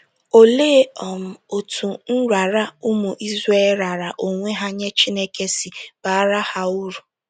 Olee um otú nrara ụmụ Izrel raara onwe ha nye Chineke si baara ha uru?